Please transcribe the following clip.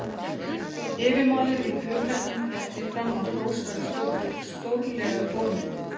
Yfirmaður í flughernum hélt því fram að hrós væri stórlega ofmetið.